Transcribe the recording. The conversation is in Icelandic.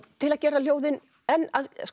til að gera ljóðin enn